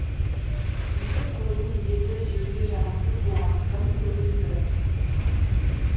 екі қойдың еті жеуге жарамсыз болғандықтан көмілді